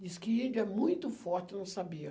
Diz que índio é muito forte, eu não sabia.